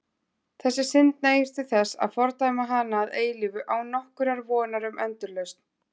Þessi synd nægir til þess að fordæma hana að eilífu án nokkurrar vonar um endurlausn.